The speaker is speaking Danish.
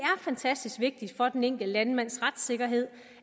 fantastisk vigtigt for den enkelte landmands retssikkerhed